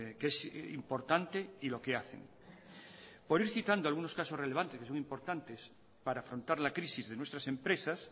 que es importante y lo que hacen por ir citando algunos casos relevantes que son importantes para afrontar la crisis de nuestras empresas